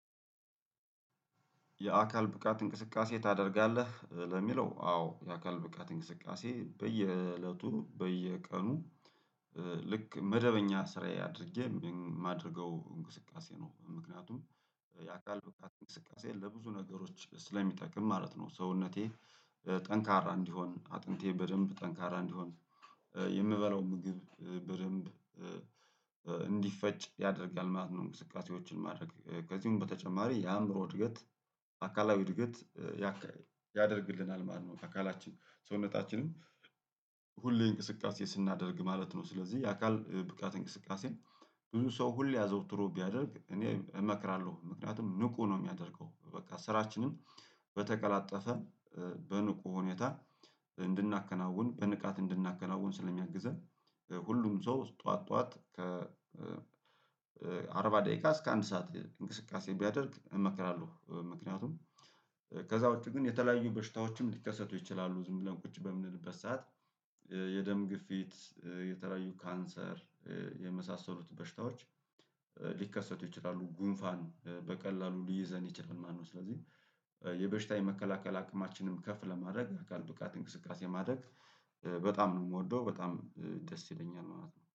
የአካል ብቃት እንቅስቃሴ ታደርጋለህ? ለሚለው አዎ የአካል ብቃት እንቅስቃሴ በየእለቱ በየቀኑ። ልክ መደበኛ ስራዬ አድርጌ የማደርገው እንቅስቃሴ ነው። ምክንያቱም የአካል ብቃት እንቅስቃሴ ለብዙ ነገሮች ስለሚጠቅም ማለት ነው። ሰውነቴ ጠንካራ እንዲሆን አጥንቴ በደንብ ጠንካራ እንዲሆን የምበላው ምግብ በደንብ እንዲፈጭ ያደርጋል ማለት ነው። እንቅስቃሴዎችን ማድረግ ከዚሁም በተጨማሪ የአእምሮ እድገት አካላዊ እድገት ያከ ያደርግልናል ማለት ነው። አካላችን ሰውነታችንም ሁሌ እንቅስቃሴ ስናደርግ ማለት ነው። ስለዚህ የአካል ብቃት እንቅስቃሴ ብዙ ሰው ሁሌ አዘውትሮ ቢያደርግ እኔ እመክራለሁ ምክንያቱም ንቁ ነው። የሚያደርገው በቃ ስራችንን በተቀላጠፈ በንቁ ሁኔታ እንድናከናውን በንቃት እንድናከናውን ስለሚያግዘን። ሁሉም ሰው ጠዋት ጠዋት ከ አርባ ደቂቃ እስከ አንድ ሰዓት እንቅስቃሴ ቢያደርግ እመክራለሁ። ምክንያቱም ከዚያ ውጪ ግን የተለያዩ በሽታዎችም ሊከሰቱ ይችላሉ። ዝም ብለን ቁጭ በምንልበት ሰዓት የደም ግፊት የተለያዩ ካንሰር የመሳሰሉት በሽታዎች ሊከሰቱ ይችላሉ። ጉንፋን በቀላሉ ሊይዘን ይችላሉ። ማነው ስለዚህ የበሽታ የመከላከል አቅማችንንም ከፍ ለማድረግ የአካል ብቃት እንቅስቃሴ ማድረግ በጣም ነው የምወደው በጣም ደስ ይለኛል። ማለት ነው